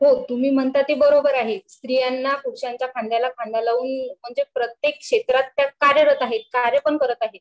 हो तुम्ही म्हणता ते बरोबर आहेच स्त्रियांना पुरुषांच्या खांद्याला खांदा लावून म्हणजे प्रत्येक क्षेत्रात त्या कार्यरत आहेत कार्य पण करत आहेत